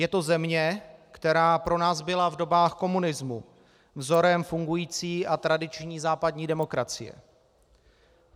Je to země, která pro nás byla v dobách komunismu vzorem fungující a tradiční západní demokracie.